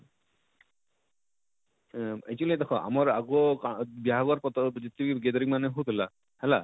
ହୁଁ actually ଦେଖ ଆମର ଆଗୋ କା ବିହାଘର ପତର ଟିକେ ଗେଜରିନ ମାନେ ହଉ ଥିଲା ହେଲା,